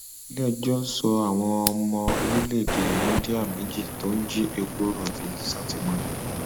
iléẹjọ sọ àwọn ọmọ orílẹèdè íńdíà méjì tó ń jí epo rọbì sátìmọlé